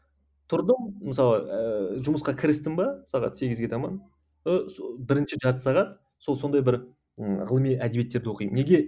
тұрдым мысалы ыыы жұмысқа кірістім бе сағат сегізге таман ы сол бірінші жарты сағат сол сондай бір ы ғылыми әдебиеттерді оқимын неге